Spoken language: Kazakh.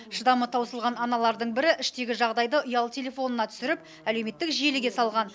шыдамы таусылған аналардың бірі іштегі жағдайды ұялы телефонына түсіріп әлеуметтік желіге салған